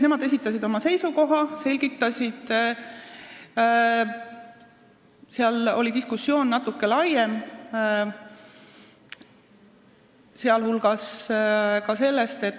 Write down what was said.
Nemad esitasid oma seisukoha ja selgitasid seda, aga diskussioon oli natuke laiem.